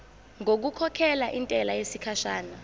ngokukhokhela intela yesikhashana